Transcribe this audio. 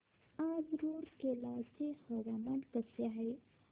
आज रूरकेला चे हवामान कसे आहे